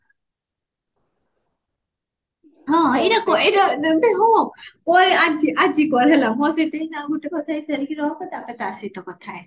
ହଁ ଏଇଟା କ ଏଇଟା କ ଏ ଆଜି ଆଜି କର ହେଲା ମୋର ଆଉ ଗୋଟେ ସାରିକି ରଖ ତାପରେ ତା ସହିତ କଥା ହେମି